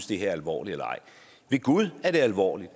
det her alvorligt eller ej ved gud er det alvorligt